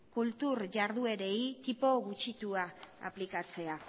kultur jarduerei tipo gutxitua aplikatzea